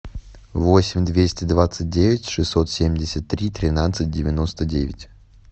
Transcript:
восемь двести двадцать девять шестьсот семьдесят три тринадцать девяносто девять